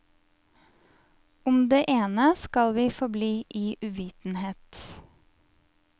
Om det ene skal vi forbli i uvitenhet.